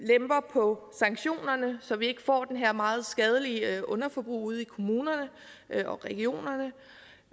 på sanktionerne så vi ikke får det her meget skadelige underforbrug ude i kommunerne og regionerne